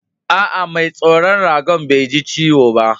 Aa, mai tsaron raga'n Bai ji ciwo ba?